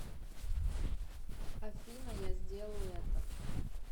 афина я сделаю это